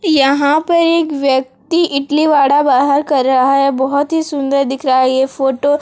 यहां पर एक व्यक्ति इटली वडा बाहर कर रहा है बहोत ही सुंदर दिख रहा है ये फोटो --